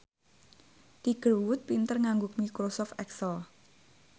Tiger Wood pinter nganggo microsoft excel